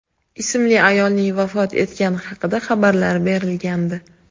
ismli ayolning vafot etgani haqida xabarlar berilgandi.